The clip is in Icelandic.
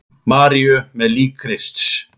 Maríu með lík Krists.